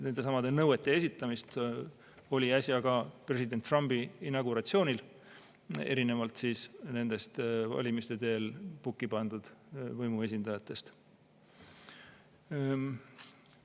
Nendesamade nõuete esitamist oli äsja ka president Trumpi inauguratsioonil, erinevalt siis nendest valimiste teel pukki pandud võimuesindajatest.